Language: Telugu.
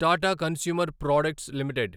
Tata consumer products limited